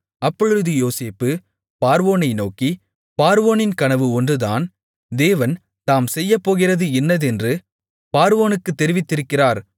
அப்பொழுது யோசேப்பு பார்வோனை நோக்கி பார்வோனின் கனவு ஒன்று தான் தேவன் தாம் செய்யப்போகிறது இன்னதென்று பார்வோனுக்கு தெரிவித்திருக்கிறார்